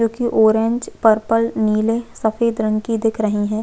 जोकि orange purple नीले सफ़ेद रंग की दिख रही हैं।